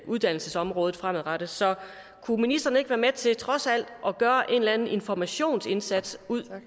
uddannelsesområdet fremadrettet så kunne ministeren ikke være med til trods alt at gøre en eller anden informationsindsats ud